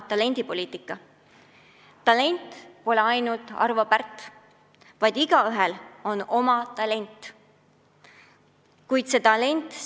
Talent pole ainult Arvo Pärt, igaühel on mingi anne.